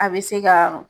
A bɛ se ka